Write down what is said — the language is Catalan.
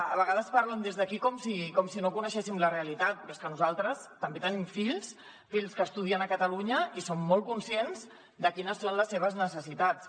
a vegades parlen des d’aquí com si no coneguéssim la realitat però és que nosaltres també tenim fills fills que estudien a catalunya i som molt conscients de quines són les seves necessitats